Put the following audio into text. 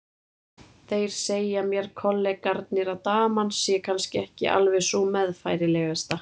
Þeir segja mér kollegarnir að daman sé kannski ekki alveg sú meðfærilegasta.